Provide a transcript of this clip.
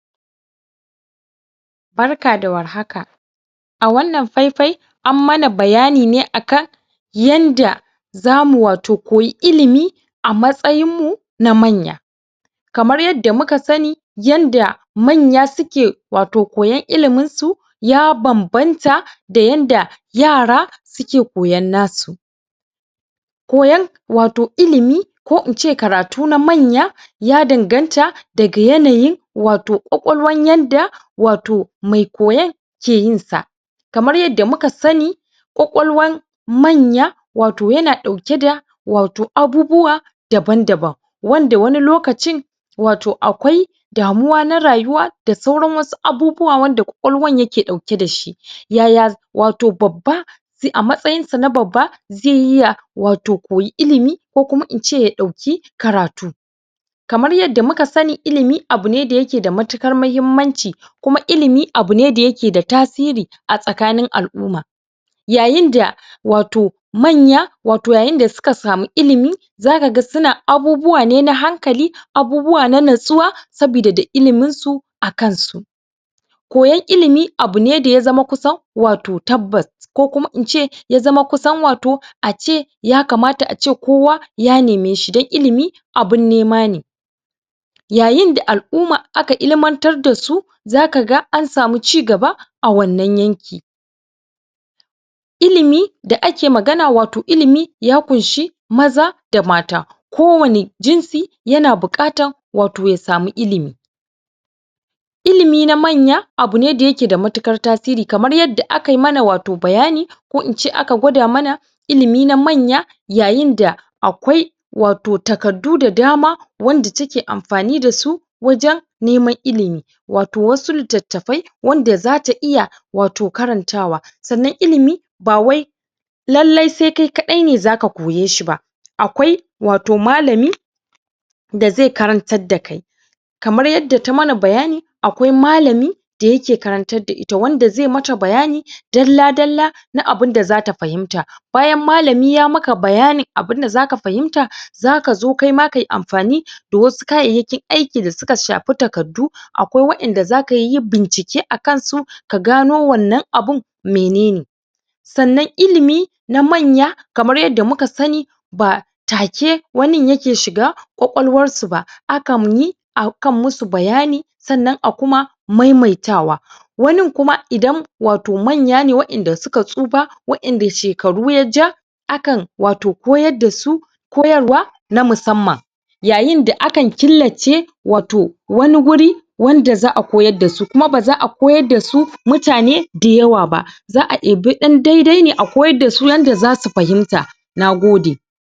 Barka da warhaka! A wannan fai-fai an mana bayani ne akan yanda za mu wato koyi ilimi a matsyin mu na manya. Kamar yadda muka sani, yanda manya su ke wato koyon iliminsu ya bam-banta da yanda yara su ke koyon nasu. Koyon wato ilimi ko in ce karatu na manya ya danganta daga yanayin wato ƙwaƙwalwan yanda wato mai koyon ke yin sa. Kamar yadda muka sani ƙwaƙwalwan manya wato ya na ɗauke da wato abubuwa daban-daban. Wanda wani lokacin wato akwai damuwa na rayuwa da sauran wasu abubuwa wanda ƙwaƙwalwan ya ke ɗauke da shi. Yaya za wato babba zai a matsayinsa na babba zai iya wato koyi ilimi ko kuma in ce ya ɗauki karatu. Kamar yadda muka sani ilimi, abu ne da ya ke da matuƙar muhimmanci kuma ilimi abu ne da ya ke da tasiri a tsakanin al'umma. Yayin da wato manya, wato yayin da su ka samu ilimi za ka ga su na abubuwa ne na hankali, abubuwa na natsuwa, saboda da ilimin su a kansu. Koyon ilimi abu ne da zama kusan wato tabbas. Ko kuma in ce, ya zama kusan wato ace ya kamata ace kowa ya neme shi, don ilimi abun nema ne. Yayin da al'umma aka ilmantar da su za ka ga an samu cigaba a wannan yankin. Ilimi da ake magana wato ilimi ya ƙunshi maza da mata. Kowane jinsi ya na buƙatar wato ya samu ilimi. Ilimi na manya abu ne da ya ke da matuƙar tasiri, kamar yadda aka yi mana wato bayani ko in ce aka gwada mana ilimi na manya, yayin da akwai wato takaddu da dama wanda take amfani da su wajen neman ilimi, wato wasu litattafa, wanda za ta iya wato karantawa. Sannan ilimi ba wai lallai sai kai kaɗai ne za ka koye shi ba, akwai wato malami da zai karantar da kai. Kamar yadda ta mana bayani akwai malami da ya ke karantar da ita, wanda zai ma ta bayani dalla-dalla na abunda za ta fahimta. Bayan malami ya maka bayanin abunda za ka fahimta za ka zo kaima kayi amfani da wasu kayayyakin aiki da suka shafi takardu, akwai waƴanda za ka yi bincike akansu ka gano wannan abun menene. Sannan ilimi na manya kamar yadda muka sani ba take wanin ya ke shiga ƙwaƙwalwarsu ba akan yi akan musu bayani sannan a kuma mai-maitawa. Wanin kuma idan wato manya ne waƴanda su ka tsufa waƴanda shekaru ya ja akan wato koyar da su koyarwa na musamman. Yayin da akan killace, wato wani wuri wanda za'a koyar da su. Kuma ba za'a koyar da su mutane da yawa ba. Za'a ebi ɗan dai-dai ne a koyar da su yanda za su fahimta. Nagode!